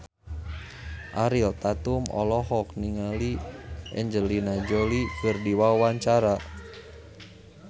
Ariel Tatum olohok ningali Angelina Jolie keur diwawancara